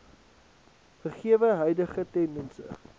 gegewe huidige tendense